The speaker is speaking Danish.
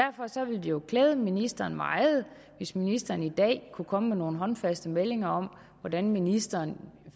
jo klæde ministeren meget hvis ministeren i dag kunne komme med nogle håndfaste meldinger om hvordan ministeren